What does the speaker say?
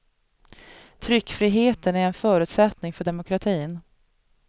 Tryckfriheten är en förutsättning för demokratin.